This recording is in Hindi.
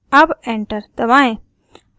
अब enter दबाएं